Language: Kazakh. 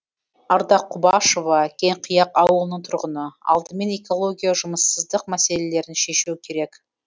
ардақ құбашева кеңқияқ ауылының тұрғыны алдымен экология жұмыссыздық мәселелерін шешу керек